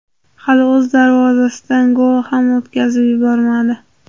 Hali o‘z darvozasidan gol ham o‘tkazib yubormadi.